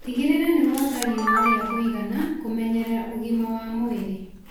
Tigĩrĩra nĩ wota riũa rĩa kũigana kũmenyerera ũgima wa mwĩrĩ.